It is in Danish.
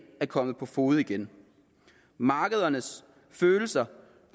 er kommet på fode igen markedernes følelser